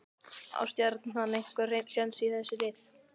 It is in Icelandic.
Á Stjarnan einhver séns í þessi lið?